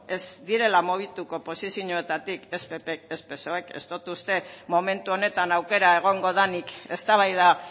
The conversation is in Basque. ez direla mugitu posizioetatik ez pp ez psoe ez dot uste momentu honetan aukera egongo denik eztabaida